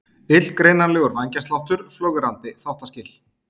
Illgreinanlegur vængjasláttur, flögrandi þáttaskil.